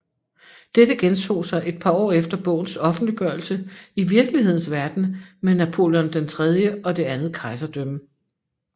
Dette gentog sig et par år efter bogens offentliggørelse i virkelighedens verden med Napoleon III og Det andet Kejserdømme